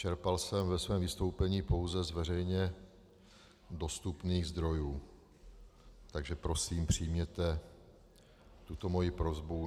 Čerpal jsem ve svém vystoupení pouze z veřejně dostupných zdrojů, takže prosím přijměte tuto moji prosbu.